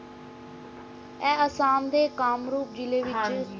ਆਏ ਅਸਾਮ ਦੇ ਕਾਮਰੂਪ ਜ਼ਿੱਲੇ ਦੇ ਵਿਚ